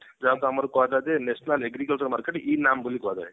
ଯାହାକୁ ଆମର କୁହାଯାଉଛି ଯେ national agriculture market ବୋଲି କୁହାଯାଏ